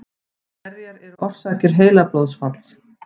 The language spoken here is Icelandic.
Hverjar eru orsakir heilablóðfalls?